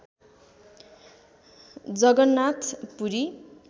Jagannath Puri